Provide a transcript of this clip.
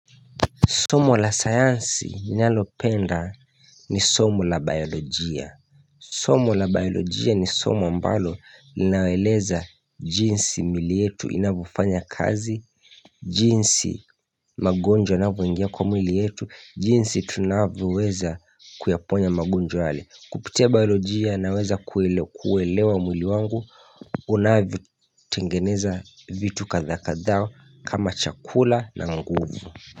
Somo la sayansi ninalopenda ni somo la biolojia. Somo la biolojia ni somo ambalo linaoeleza jinsi mili yetu inavo fanya kazi, jinsi magonjwa yanapoingia kwa mwili yetu, jinsi tunavyoweza kuyaponya magonjwa yale. Kupitia biolojia naweza kuelo kuelewa mwili wangu, unavyotengeneza vitu kadhaa kadhaa kama chakula na nguvu.